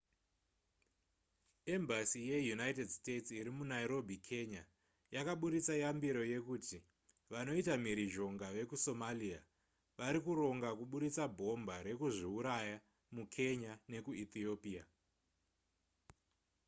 embassy yeunited states irimunairobi kenya yakaburitsa yambiro yekuti vanoita mhirizhonga vekusomalia varikuronga kuburitsa bhomba rekuzviuraya mukenya nekuethiopia